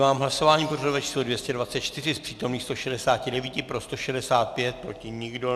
V hlasování pořadové číslo 224 z přítomných 169 pro 165, proti nikdo.